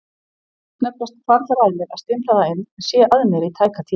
Snöggvast hvarflar að mér að stimpla það inn en sé að mér í tæka tíð.